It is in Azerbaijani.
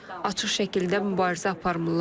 Açıq şəkildə mübarizə aparmırlar.